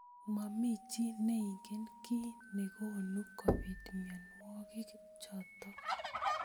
Momi chi neingen ki nekonu kobit mnyonwokik chotok.